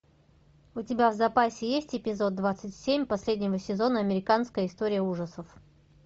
у тебя в запасе есть эпизод двадцать семь последнего сезона американская история ужасов